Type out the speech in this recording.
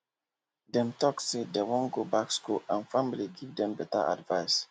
dem talk say dem wan go back school and family give them better advice